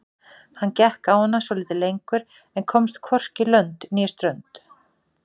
Hann gekk á hana svolítið lengur en komst hvorki lönd né strönd.